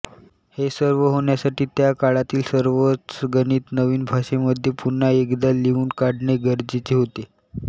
हे सर्व होण्यासाठी त्याकाळातील सर्वच गणित नवीन भाषेमध्ये पुन्हा एकदा लिहून काढणे गरजेचे होते